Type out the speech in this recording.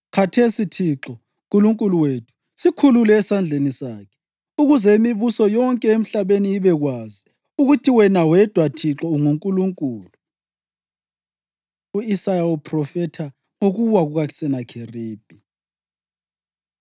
Khathesi, Thixo, Nkulunkulu wethu, sikhulule esandleni sakhe, ukuze imibuso yonke emhlabeni ibekwazi, ukuthi wena wedwa, Thixo, unguNkulunkulu.” U-Isaya Uphrofetha Ngokuwa KukaSenakheribi